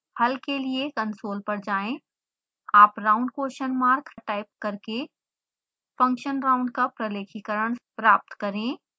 हल के लिए कंसोल पर जाएं आप round question mark टाइप करके फंक्शन round का प्रलेखीकरण प्राप्त करें